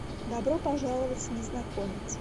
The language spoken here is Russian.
добро пожаловать незнакомец